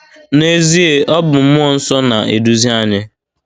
N’ezie, ọ bụ mmụọ nsọ na - eduzi anyị.